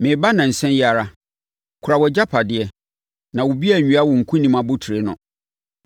Mereba nnansa yi ara. Kora wʼagyapadeɛ, na obi anwia wo nkonim abotire no.